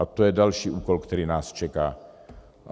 A to je další úkol, který nás čeká.